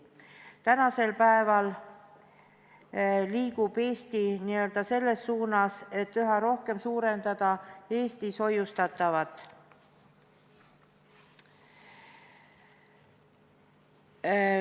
Tänasel päeval liigub Eesti selles suunas, et üha rohkem suurendada Eestis hoiustamist.